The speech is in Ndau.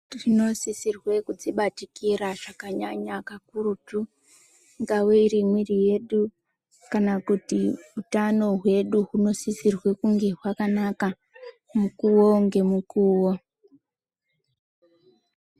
Tinosirwa kudzibatikira zvakanyanya kakurutu. Ingava iri mwiri yedu kana kuti utano hwedu hunosisirwa kunge hwakanaka mukuwo ngemukuwo.